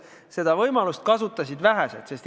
Seda võimalust kasutasid vähesed.